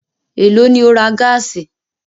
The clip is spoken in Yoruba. Èló lo ra gáàsì?